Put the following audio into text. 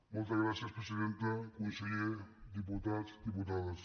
moltes gràcies presidenta conseller diputats diputades